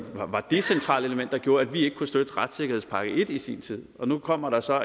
var det centrale element der gjorde at vi ikke kunne støtte retssikkerhedspakke i i sin tid nu kommer der så